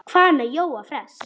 Hvað með Jóa fress?